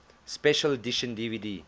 special edition dvd